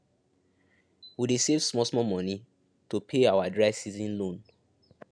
we dey save small small money to pay our dry season loan